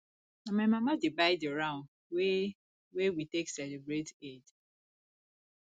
na my mama dey buy di ram wey wey we take celebrate eid